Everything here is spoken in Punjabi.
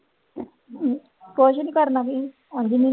ਕੁਛ ਨੀ ਕਰਨਾ ਕੀ ਉੰਞ ਨੀ।